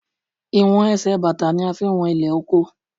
Ìwọ̀n Ẹsẹ̀ bàtà ni a fi ń wọn ilẹ̀ oko.